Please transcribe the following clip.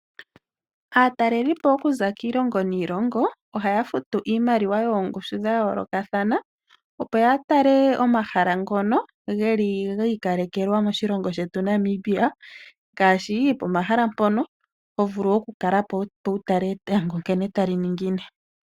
Aatalelipo okuza kiilongo niilongo, ohaya futu iimaliwa yoongushu dha yoolokathana, opo ya tale omahala ngono geli giikalekwelwa moshilongo shetu Namibia, ngaashi pomahala mpono, ho vulu oku kala po, opo wu tale etango nkene tali ningine.